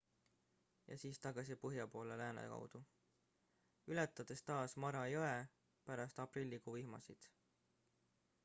ja siis tagasi põhja poole lääne kaudu ületades taas mara jõe pärast aprillikuu vihmasid